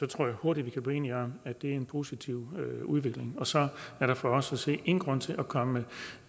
tror jeg hurtigt vi kan blive enige om er en positiv udvikling og så er der for os at se ingen grund til at komme med